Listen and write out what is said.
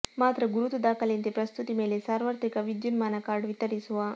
ಮಾತ್ರ ಗುರುತು ದಾಖಲೆಯಂತೆ ಪ್ರಸ್ತುತಿ ಮೇಲೆ ಸಾರ್ವತ್ರಿಕ ವಿದ್ಯುನ್ಮಾನ ಕಾರ್ಡ್ ವಿತರಿಸುವ